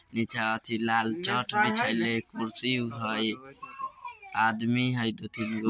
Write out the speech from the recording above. नीचा अथी लाल चाट बिछैले हई कुर्सी हई आदमी हई दो तीन गो।